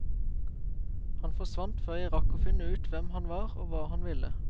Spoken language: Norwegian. Han forsvant før jeg rakk å finne ut hvem han var og hva han ville.